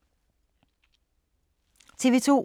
TV 2